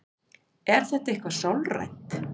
Er þetta eitthvað sálrænt?